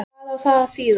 Hvað á það að þýða?